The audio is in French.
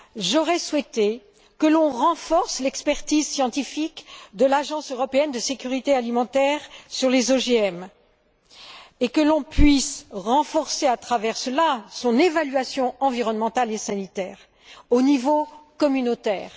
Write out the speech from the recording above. J'aurais souhaité que l'on renforce l'expertise scientifique de l'Agence européenne de sécurité alimentaire sur les OGM et que l'on puisse renforcer par ce biais son évaluation environnementale et sanitaire, au niveau communautaire.